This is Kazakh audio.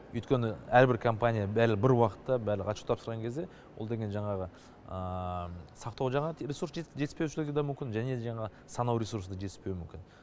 өйткені әрбір компания бір уақытта барлығы отчет тапсырған кезде ол деген жаңағы сақтау жағы ресурс жетіспеушілігі де мүмкін және де жаңағы санау ресурсы жетіспеуі де мүмкін